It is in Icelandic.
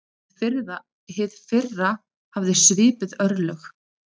Hið fyrra hafði svipuð örlög.